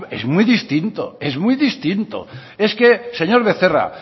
es muy distinto es muy distinto es que señor becerra